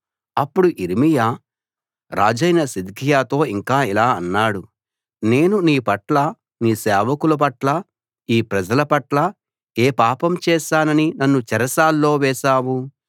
అప్పుడు యిర్మీయా రాజైన సిద్కియాతో ఇంకా ఇలా అన్నాడు నేను నీ పట్ల నీ సేవకుల పట్ల ఈ ప్రజల పట్ల ఏ పాపం చేశానని నన్ను చెరసాల్లో వేశావు